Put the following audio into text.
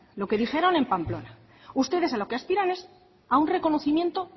lo que dijeron en pamplona ustedes a lo que aspiran es a un reconocimiento